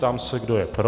Ptám se, kdo je pro.